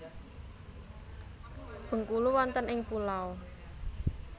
Bengkulu wonten ing pulau